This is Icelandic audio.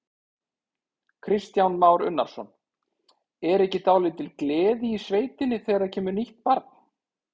Kristján Már Unnarsson: Er ekki dálítil gleði í sveitinni þegar það kemur nýtt barn?